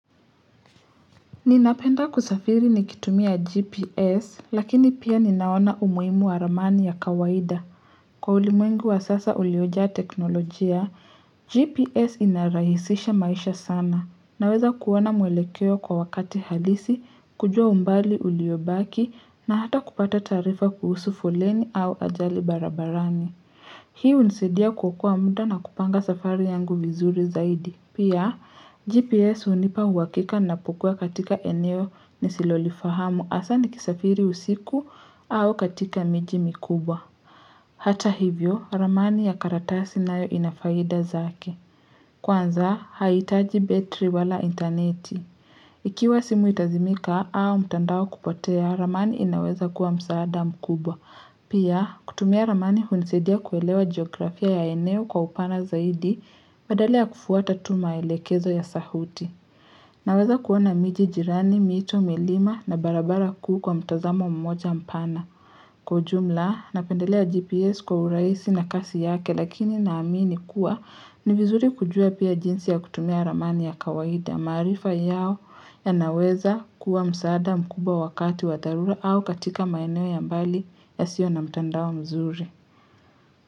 Ninapenda kusafiri nikitumia gps lakini pia ninaona umuhimu wa ramani ya kawaida Kwa ulimwengu wa sasa uliojaa teknolojia gps ina rahisisha maisha sana naweza kuona mwelekeo kwa wakati halisi kujua umbali uliobaki na hata kupata taarifa kuhusu foleni au ajali barabarani Hii hunisaidia kuokoa muda na kupanga safari yangu vizuri zaidi. Pia, GPS hunipa uhakika ninapokua katika eneo nisilolifahamu hasa ni kisafiri usiku au katika miji mikubwa. Hata hivyo, ramani ya karatasi nayo inafaida zake. Kwanza, haihitaji battery wala interneti. Ikiwa simu itazimika au mtandao kupotea, ramani inaweza kuwa msaada mkubwa. Pia, kutumia ramani hunisaidia kuelewa geografia ya eneo kwa upana zaidi badala ya kufwata tu maelekezo ya sauti. Naweza kuona miji jirani, mito, milima na barabara kuu kwa mtazamo mmoja mpana. Kwa ujumla, napendelea GPS kwa urahisi na kasi yake lakini naamini kuwa ni vizuri kujua pia jinsi ya kutumia ramani ya kawaida. Maarifa yao yanaweza kuwa msaada mkubwa wakati wa dharura au katika maeneo ya mbali yasiyo na mtandao mzuri.